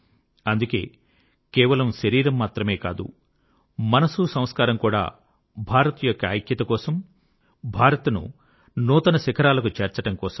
అందుకే కేవలం శరీరం మాత్రం కాదు మనసు సంస్కారం కూడా భారత్ యొక్క ఐక్యత కోసం భారత్ ను నూతన శిఖరాలకు చేర్చడం కోసం